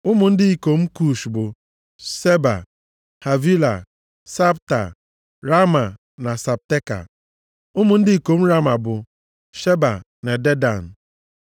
Ụmụ ndị ikom Kush + 10:7 Ọ bụ nʼime ala Arab ka mba asaa ndị Kush dị. bụ: Seba, Havila, Sabta, Raama na Sabteka. Ụmụ ndị ikom Raama bụ: Sheba na Dedan.